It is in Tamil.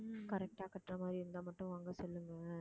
correct ஆ கட்டுற மாதிரி இருந்தா மட்டும் வாங்க சொல்லுங்க